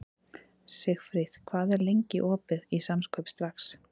Sigfríð, hvað er lengi opið í Samkaup Strax?